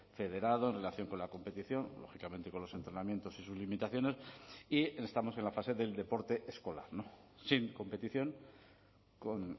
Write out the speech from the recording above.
federado en relación con la competición lógicamente con los entrenamientos y sus limitaciones y estamos en la fase del deporte escolar sin competición con